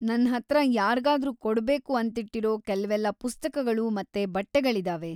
ನನ್ಹತ್ರ ಯಾರ್ಗಾದ್ರೂ ಕೊಡ್ಬೇಕು ಅಂತಿಟ್ಟಿರೋ ಕೆಲ್ವೆಲ್ಲ ಪುಸ್ತಕಗಳು ಮತ್ತೆ ಬಟ್ಟೆಗಳಿದಾವೆ.